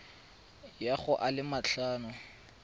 ya go a le matlhano